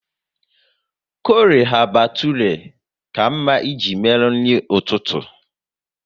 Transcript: Chole bhature ka mma ị ji mee nri ụtụtụ